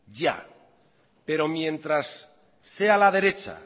ya pero mientras sea la derecha